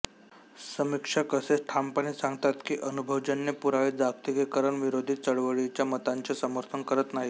समीक्षक असे ठामपणे सांगतात की अनुभवजन्य पुरावे जागतिकीकरण विरोधी चळवळीच्या मतांचे समर्थन करत नाहीत